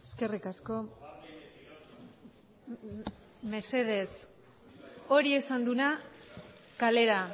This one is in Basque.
eskerrik asko mesedez hori esan duena kalera